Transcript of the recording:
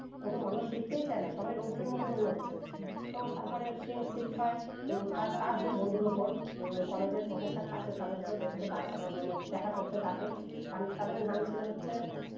কোন মানুষ শেখতেই চায় না সবাই robort এর মত দৌড়চ্ছে তো তার পরে scene shift হয় উম তার তার দুই বন্ধুর উপর আহ college এর professor তাকেও তাদেরকেও দেখতে ডা মানে দেখা করতে ডাকে টান নাম ছিলো হচ্ছে